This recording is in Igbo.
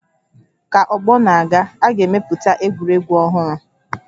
Ka ọgbọ na-aga, a ga-emepụta egwuregwu ọhụrụ